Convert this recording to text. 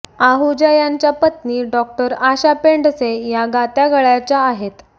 आहुजा यांच्या पत्नी डॉक्टर आशा पेंडसे या गात्या गळ्याच्या आहेत